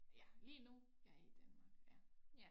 Ja lige nu jeg i Danmark ja